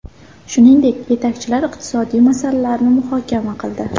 Shuningdek, yetakchilar iqtisodiy masalalarni muhokama qildi.